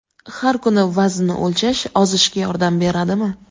Har kuni vaznni o‘lchash ozishga yordam beradimi?.